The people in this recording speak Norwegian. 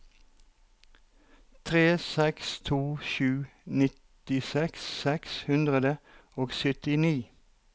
tre seks to sju nittiseks seks hundre og syttini